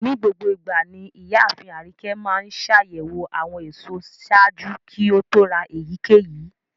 Nigbogboigba ni iyaafin Arike maa ńṣayẹwo awọn eso ṣaaju ki o to ra eyikeyi